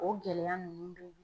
O gɛlɛya ninnu dun